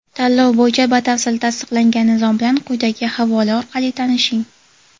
Tanlov bo‘yicha batafsil tasdiqlangan nizom bilan quyidagi havola orqali tanishing.